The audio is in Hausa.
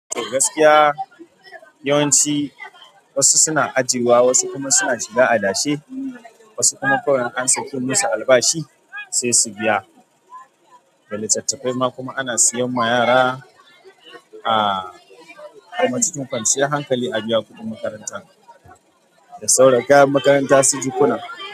Gaskiya yawanci wasu suna ajiyewa, wasu kuma suna shiga adashe, wasu kuma kawai an saki musu albashi sai su biya. Da littattafai ma kuma ana siyan ma yara a kuma cikin kwanciyar hankali a biya kuɗin makaranta da sauran kayan makaranta su jikuna.